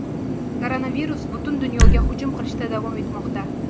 Koronavirus butun dunyoga hujum qilishda davom etmoqda.